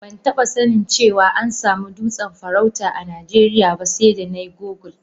Ban taba sanin cewa an samu dutsen farauta a Najeriya ba sai da na yi google.